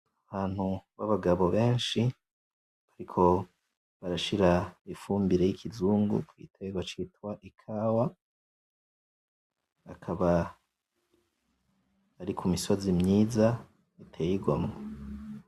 Abantu babagabo benshi, bariko barashira ifumbire y'ikizungu ku giterwa citwa ikawa, bakaba bari ku misozi myiza iteye igomwe.